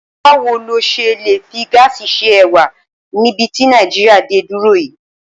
Báwo lo s̩e lè fi gáàsì se è̩wà níbi tí Nàìjíríà dé dúró yìí?